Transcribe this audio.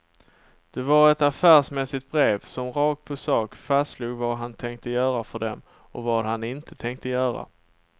Det var ett affärsmässigt brev, som rakt på sak fastslog vad han tänkte göra för dem och vad han inte tänkte göra.